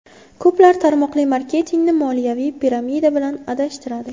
Ko‘plar tarmoqli marketingni moliyaviy piramida bilan adashtiradi.